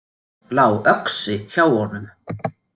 Lá öxi hjá honum.